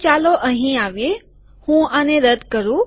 તો ચાલો અહીં આવીએ હું આને રદ્દ કરું